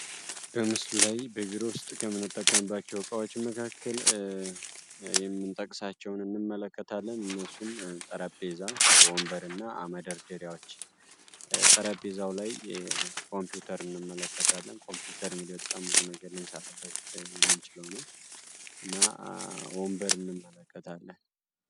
በምስሉ ላይ በቢሮ ውስጥ ከምነጠቀንባቸው ዕቃዎች መካከል የምጠቅሳቸውን እንመለከታለን። እነሱም ጠረጴዛ ወንበር እና መደርጀሪያዎች ጠረጴዛው ላይ ኮምፒውተር እንመለከታለን ኮምፒውተር እንግዲህ በጣም ብዙ ነገር እንሰራበት የምንችል ሲሆነ እና ወንበር እንመለከታለን።